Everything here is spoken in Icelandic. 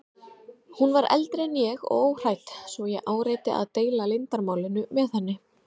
Hún var eldri en ég og óhrædd svo ég áræddi að deila leyndarmálinu með henni.